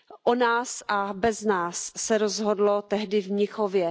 O nás a bez nás se rozhodlo tehdy v Mnichově.